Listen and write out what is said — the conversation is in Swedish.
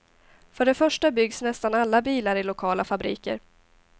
För det första byggs nästan alla bilar i lokala fabriker.